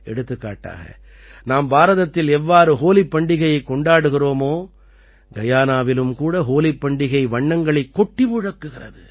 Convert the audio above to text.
எடுத்துக்காட்டாக நாம் பாரதத்தில் எவ்வாறு ஹோலிப் பண்டிகையைக் கொண்டாடுகிறோமோ கயானாவிலும் கூட ஹோலிப் பண்டிகை வண்ணங்களைக் கொட்டி முழக்குகிறது